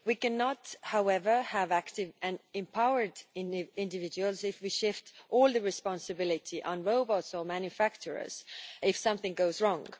We cannot, however, have active and empowered individuals if we shift all the responsibility onto robots or manufacturers if something goes wrong.